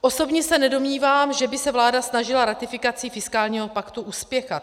Osobně se nedomnívám, že by se vláda snažila ratifikaci fiskálního paktu uspěchat.